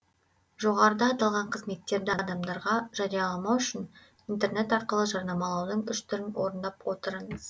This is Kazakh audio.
жоғарыда аталған қызметтерді адамдарға жарияламау үшін интернет арқылы жарнамалаудың үш түрін орындап отырыңыз